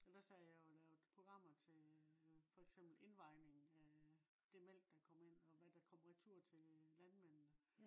der sad jeg jo og lavede programmer til øh for eksempel indvejningen af øh det mælk der kommer ind og hvad der kom retur til øh landmændene